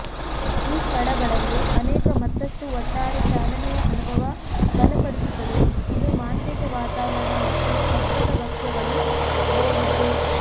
ಈ ಸ್ಥಳಗಳಲ್ಲಿ ಅನೇಕ ಮತ್ತಷ್ಟು ಒಟ್ಟಾರೆ ಚಾಲನೆಯ ಅನುಭವ ಬಲಪಡಿಸುತ್ತದೆ ಇದು ಮಾಂತ್ರಿಕ ವಾತಾವರಣ ಮತ್ತು ಅದ್ಭುತ ಭಕ್ಷ್ಯಗಳು ದಯವಿಟ್ಟು